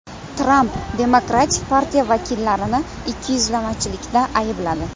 Tramp Demokratik partiya vakillarini ikkiyuzlamachilikda aybladi.